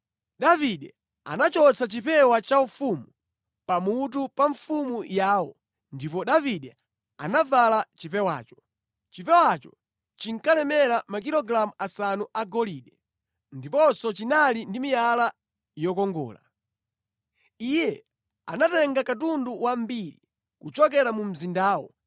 Davide anachotsa chipewa chaufumu pamutu pa mfumu yawo ndipo Davide anavala chipewacho. Chipewacho chinkalemera makilogalamu asanu agolide, ndiponso chinali ndi miyala yokongola. Iye anatenga katundu wambiri kuchokera mu mzindawo,